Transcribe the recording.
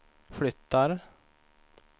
flyttar